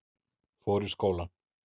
Fór í skólann.